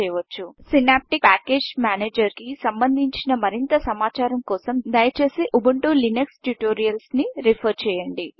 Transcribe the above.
synaptic package manager synaptic package manager కి సంభంధించిన మరింత సమాచారం కొరకు దయచేసి ఉబుంటూ లినక్స్ ట్యూటోరియల్స్ ని రెఫర్ చేయండి